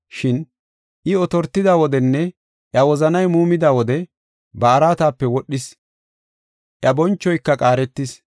Shin I otortida wodenne iya wozanay muumida wode, ba araatape wodhis; iya bonchoyka qaaretis.